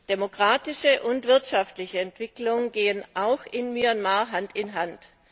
Demokratische und wirtschaftliche Entwicklung gehen auch in Myanmar Hand in Hand.